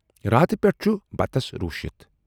راتہٕ پٮ۪ٹھٕ چھُ بتَس روٗشِتھ۔